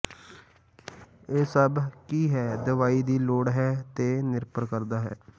ਇਹ ਸਭ ਕੀ ਹੈ ਦਵਾਈ ਦੀ ਲੋੜ ਹੈ ਤੇ ਨਿਰਭਰ ਕਰਦਾ ਹੈ